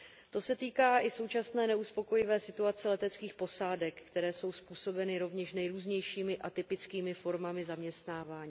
To se týká i současné neuspokojivé situace leteckých posádek, která je způsobena rovněž nejrůznějšími atypickými formami zaměstnávání.